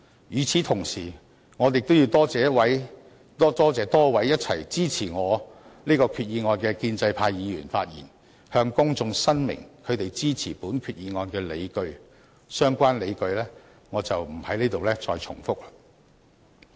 與此同時，我亦要多謝支持我這項擬議決議案的多位建制派議員，他們向公眾發言申明支持本決議案的理據。相關理據我在此不再重複。